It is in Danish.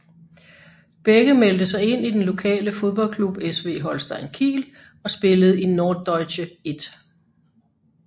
Begge meldte sig ind i den lokale fodboldklub SV Holstein Kiel og spillede i Norddeutsche 1